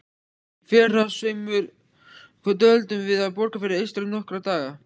Í fyrrasumar dvöldum við á Borgarfirði eystra í nokkra daga.